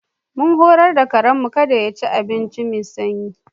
Mun horar da karen mu kada ya ci abinci mai sanyi.